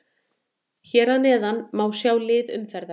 Hér neðar má svo sjá lið umferðarinnar.